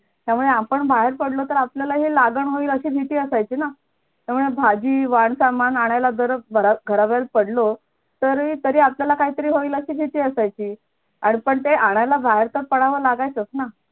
त्यामुळे आपण बाहेर पडलो तर आपल्यालाही लागण होईल अशी नीती असायची ना त्यामुळे भाजी वांग सामान आणायला दर घराबाहेर पडलो तरी अपल्याला काहीतरी होईल याची अशी भीती असायची आणि पण ते आणायला लागल्यावर बाहेर तर पडायचंच ना